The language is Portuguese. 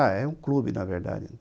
é um clube, na verdade.